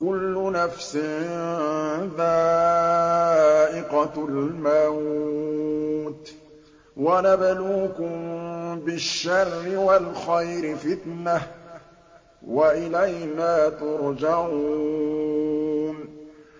كُلُّ نَفْسٍ ذَائِقَةُ الْمَوْتِ ۗ وَنَبْلُوكُم بِالشَّرِّ وَالْخَيْرِ فِتْنَةً ۖ وَإِلَيْنَا تُرْجَعُونَ